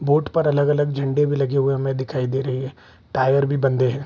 Boat पर अलग-अलग झंडे भी लगे हुए हमें दिखाई दे रहे हैं टायर भी बंधे है।